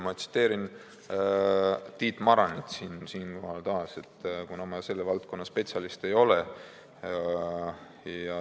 Ma tsiteerin siinkohal taas Tiit Maranit, kuna ma selle valdkonna spetsialist ei ole.